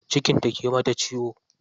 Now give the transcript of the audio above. Cikin ta ke mata ciwo.